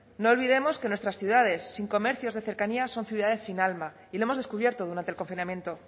no olvidemos que nuestras ciudades sin comercios de cercanía son ciudades sin alma y lo hemos descubierto durante el confinamiento